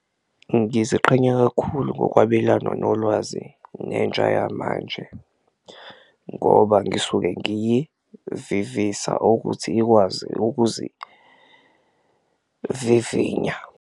Ngiziqhenya kakhulu ngokwabelana nolwazi nentsha yamanje ngoba ngisuke ngiyivivisa ukuthi ikwazi ukuzivivinya.